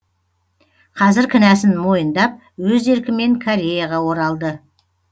қазір кінәсін мойындап өз еркімен кореяға оралды